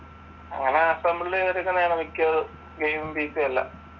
അങ്ങനെ അസംബ്ള് ചെയ്തെടുക്കുന്നതാണ് മിക്കതും ഗെയിം പിസി എല്ലാം